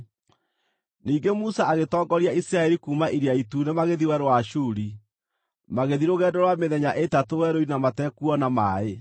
Ningĩ Musa agĩtongoria Isiraeli kuuma Iria Itune magĩthiĩ Werũ wa Shuri. Magĩthiĩ rũgendo rwa mĩthenya ĩtatũ werũ-inĩ na matekuona maaĩ.